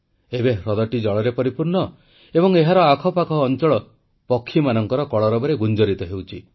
ଏବେ ହ୍ରଦଟି ଜଳରେ ପରିପୂର୍ଣ୍ଣ ଏବଂ ଏହାର ଆଖପାଖ ଅଂଚଳ ପକ୍ଷୀମାନଙ୍କ କଳରବରେ ଗୁଞ୍ଜରିତ ହେଉଛି